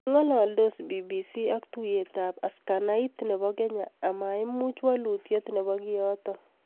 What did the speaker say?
kongoldos BBC ak tuyeetab askanait nebo Kenya amaiimuch kolutyet nebo kiyoto